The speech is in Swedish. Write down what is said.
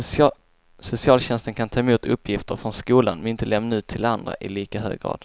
Socialtjänsten kan ta emot uppgifter från skolan men inte lämna ut till andra i lika hög grad.